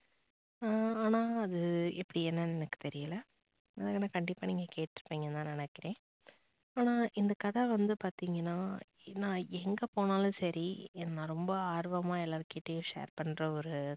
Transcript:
எர் ஆனா அது எப்படி என்னானு எனக்கு தெரியல நான் ஆனா கண்டிப்பா நீங்க கேட்டு இருபிங்கனு தான் நான் நினைக்கிறன் ஆனா இந்த கதை வந்து பாத்திங்கனா நான் எங்க போனாலும் சரி நான் ரொம்ப ஆர்வமா எல்லார் கிட்டையும் share பண்ற ஒரு